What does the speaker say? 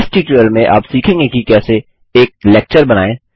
इस ट्यूटोरियल में आप सीखेंगे कि कैसे एक लेक्चर बनाएँ